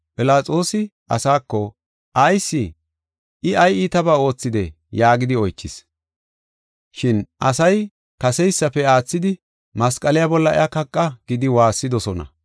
Philaxoosi asaako, “Ayis? I ay iitabaa oothidee?” yaagidi oychis. Shin asay kaseysafe aathidi, “Masqaliya bolla iya kaqa” gidi waassidosona.